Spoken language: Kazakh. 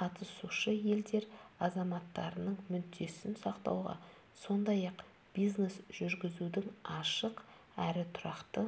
қатысушы елдер азаматтарының мүддесін сақтауға сондай-ақ бизнес жүргізудің ашық әрі тұрақты